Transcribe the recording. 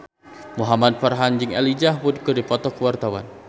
Muhamad Farhan jeung Elijah Wood keur dipoto ku wartawan